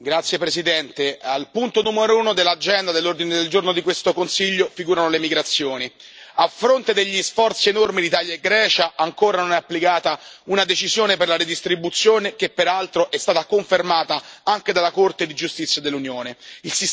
Signor Presidente, onorevoli colleghi, al punto numero uno dell'ordine del giorno di questo Consiglio figurano le emigrazioni a fronte degli sforzi enormi di Italia e Grecia, ancora non è applicata una decisione sulla redistribuzione, che peraltro è stata confermata anche dalla Corte di giustizia dell'Unione.